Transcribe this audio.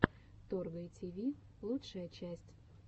торгай тиви лучшая часть